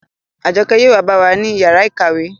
Àjọkẹ́ yóò wa bá wa ní yàrá ìkàwé